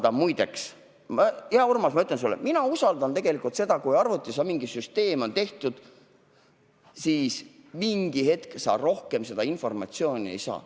Ja muideks, hea Urmas, ma ütlen sulle, et mina usaldan tegelikult seda, et kui arvutis on mingisugune süsteem, siis rohkem sealt informatsiooni ei saa.